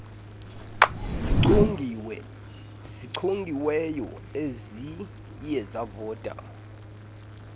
zichongiweyo eziye zavota